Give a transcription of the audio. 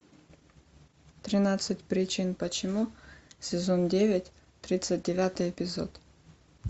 тринадцать причин почему сезон девять тридцать девятый эпизод